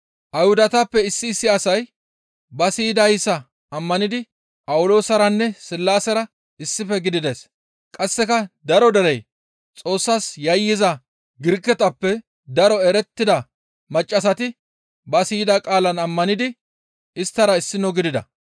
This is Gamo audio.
Ayhudatappe issi issi asay ba siyidayssa ammanidi Phawuloosaranne Sillaasera issife gidides; qasseka daro derey Xoossas yayyiza Giriketappe daro erettida maccassati ba siyida qaalaan ammanidi isttara issino gidida.